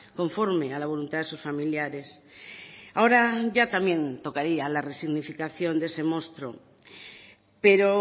conforme a la voluntad de sus familiares ahora ya también tocaría la resignificación de ese monstruo pero